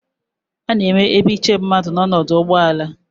Ana enwe ebe iche mmadụ n'ọdụ ụgbọelu